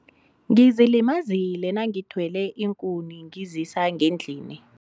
Ngizilimazile nangithwele iinkuni ngizisa ngendlini.